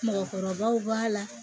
Mɔgɔkɔrɔbaw b'a la